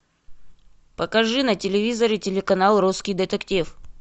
покажи на телевизоре телеканал русский детектив